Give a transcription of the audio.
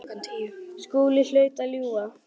Skúli hlaut að ljúga.